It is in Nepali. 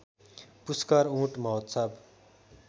पुश्कर उँट महोत्सब